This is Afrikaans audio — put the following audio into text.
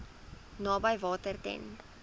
naby water ten